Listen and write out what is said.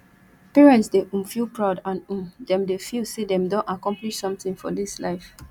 parents dey[um] feel proud and um dem dey feel say dem don accomplish something for this life